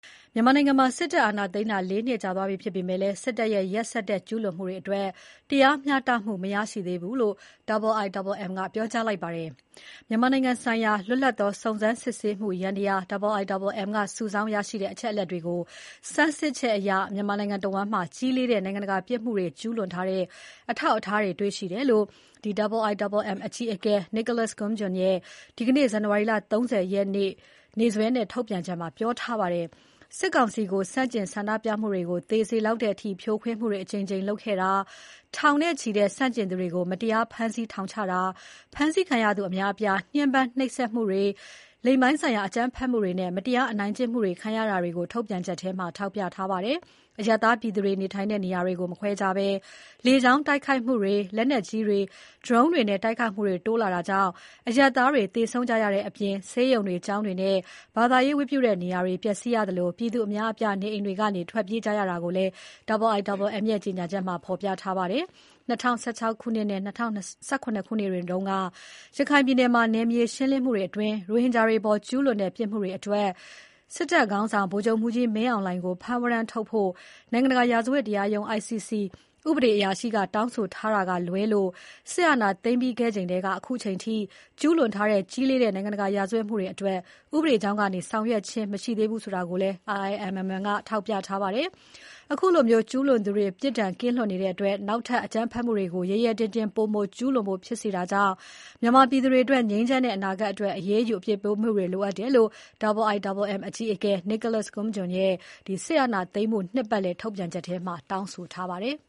မြန်မာနိုင်ငံမှာ စစ်တပ်အာဏာသိမ်းထားတာ ၄ နှစ်ကြာသွားပြီဖြစ်ပေမဲ့ စစ်တပ်ရဲ့ ရက်စက်တဲ့ ကျူးလွန်မှုတွေအတွက် တရားမျှတမှု မရရှိသေးဘူးလို့ IIMM ကပြောကြားလိုက်ပါတယ်။ မြန်မာနိုင်ငံဆိုင်ရာ လွတ်လပ်သော စုံစမ်းစစ်ဆေးမှုယန္တရား IIMM က စုဆောင်းရရှိတဲ့ အချက်အလက်တွေကို ဆန်းစစ်ချက်အရ မြန်မာနိုင်ငံတဝန်းမှာ ကြီးလေးတဲ့ နိုင်ငံတကာပြစ်မှုတွေ ကျူးလွန်ထားတဲ့ အထောက်အထားတွေ တွေ့ရှိတယ်လို့ IIMM အကြီးအကဲ Nicholas Koumjian ရဲ့ ဒီနေ့ ဇန်နဝါရီ ၃၀ ရက်နေ့စွဲနဲ့ ထုတ်ပြန်ချက်မှာ ပြောထားပါတယ်။ စစ်ကောင်စီကို ဆန့်ကျင်ဆန္ဒပြမှုတွေကို သေစေလောက်တဲ့အထိ ဖြိုခွင်းမှုတွေ အကြိမ်ကြိမ်လုပ်ခဲ့တာ၊ ထောင်နဲ့ချီတဲ့ ဆန့်ကျင်သူတွေကို မတရား ဖမ်းဆီးထောင်ချတာ၊ ဖမ်းဆီးခံရသူအများအပြား ညှဥ်းပန်း နှိပ်စက်မှုတွေ၊ လိင်ပိုင်းဆိုင်ရာအကြမ်းဖက်မှုတွေနဲ့ မတရားအနိုင်ကျင့်မှုတွေ ခံရတာကို ထုတ်ပြန်ချက်မှာ ထောက်ပြထားပါတယ်။ အရပ်သားပြည်သူတွေ နေထိုင်တဲ့နေရာတွေကို မခွဲခြားဘဲ လေကြောင်းတိုက်ခိုက်မှုတွေ၊ လက်နက်ကြီးတွေ၊ ဒရုန်းတွေနဲ့ တိုက်ခိုက်မှုတွေ တိုးလာတာကြောင့် အရပ်သားတွေ သေဆုံးကြရတဲ့အပြင် ဆေးရုံတွေ၊ ကျောင်းတွေနဲ့ ဘာသာရေးဝတ်ပြုတဲ့နေရာတွေ ပျက်စီးရသလို ပြည်သူအများအပြား နေအိမ်တွေကနေ ထွက်ပြေးနေကြရတာကိုလည်း IIMM က ဖော်ပြထားပါတယ်။ ၂၀၁၆ နဲ့ ၂၀၁၇ ခုနှစ်တွေတုန်းက ရခိုင်ပြည်နယ်မှာ နယ်မြေရှင်းလင်းမှုအတွင်း ရိုဟင်ဂျာတွေအပေါ် ကျူးလွန်တဲ့ ပြစ်မှုတွေအတွက် စစ်တပ်ခေါင်းဆောင် ဗိုလ်ချုပ်မှူးကြီးမင်းဆောင်လှိုင်ကို ဖမ်းဝရမ်း ထုတ်ဖို့ နိုင်ငံတကာရာဇဝတ်တရားရုံး ICC ဥပဒေအရာရှိက တောင်းဆိုထားတာကလွဲလို့ စစ်အာဏာ သိမ်းခဲ့ပြီးချိန်ကတည်းက အခုချိန်ထိ ကျူးလွန်ထားတဲ့ ကြီးလေးတဲ့ နိုင်ငံတကာ ရာဇတ်မှုတွေအတွက် ဥပဒေကြောင်းကနေ ဆောင်ရွက်ခြင်း မရှိသေးဘူးဆိုတာကိုလည်း IIMM ကထောက်ပြပါတယ်။ အခုလို ကျူးလွန်သူတွေ ပြစ်ဒဏ်ကင်းလွတ်နေတဲ့အတွက် နောက်ထပ်အကြမ်းဖက်မှုတွေကို ရဲရဲတင်းတင်း ပိုမိုကျူးလွန်ဖို့ ဖြစ်စေတာကြောင့် မြန်မာပြည်သူတွေအတွက် ငြိမ်းချမ်းတဲ့ အနာဂတ်အတွက် အရေးယူ အပြစ်ပေးမှုတွေ လိုအပ်တယ်လို့ IIMM အကြီးအကဲ Nicholas Koumjian က စစ်အာဏာသိမ်း နှစ်ပတ်လည်ထုတ်ပြန်ချက်ထဲမှာ တောင်းဆိုထားပါတယ်။